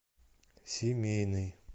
семейный